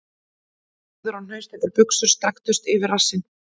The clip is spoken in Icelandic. Víðar og hnausþykkar buxur strekktust yfir rassinn..